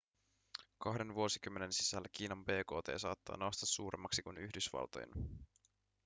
kahden vuosikymmenen sisällä kiinan bkt saattaa nousta suuremmaksi kuin yhdysvaltojen